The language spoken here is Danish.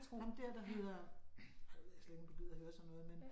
Ham der der hedder ej nu ved jeg slet ikke om du gider høre sådan noget men